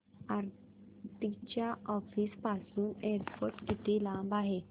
आरती च्या ऑफिस पासून एअरपोर्ट किती लांब आहे